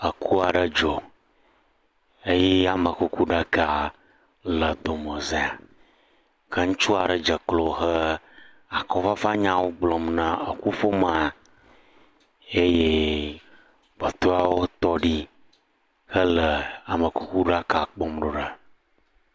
Eku aɖe dzɔ eye amekuku ɖaka le dome za, ke ŋutsu aɖe dze klo he akɔfafa nyawo gblɔm na eku ƒomea eye kpɔtɔewo tɔ ɖi hele amekuku ɖaka kpɔm ɖo ɖa.